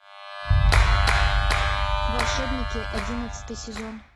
волшебники одиннадцатый сезон